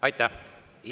Aitäh!